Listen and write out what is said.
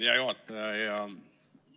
Hea juhataja!